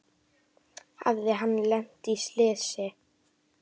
Hafði hann lent í slysi?